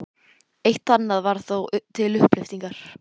Eitt og annað var þó til upplyftingar.